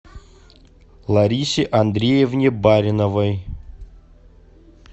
ларисе андреевне бариновой